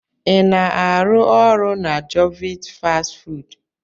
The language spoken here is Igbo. Ị na-arụ ọrụ na jovit fastị fụụdụ?